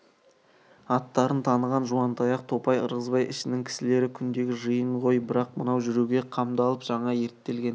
аттарынан таныған жуантаяқ топай ырғызбай ішінің кісілері күндегі жиын ғой бірақ мынау жүруге қамдалып жаңа ерттелген